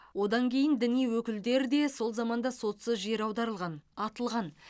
одан кейін діни өкілдер де сол заманда сотсыз жер аударылған атылған